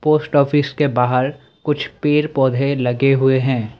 Post office के बाहर कुछ पेड़ पौधे लगे हुए हैं।